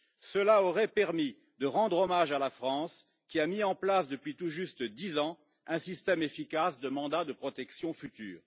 Cela aurait permis de rendre hommage à la France, qui a mis en place depuis tout juste dix ans un système efficace de mandat de protection future.